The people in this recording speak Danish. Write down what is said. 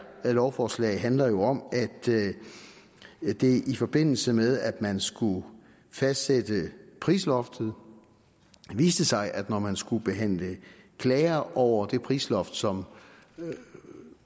lovforslag handler jo om at det i forbindelse med at man skulle fastsætte prisloftet viste sig at når man skulle behandle klager over det prisloft som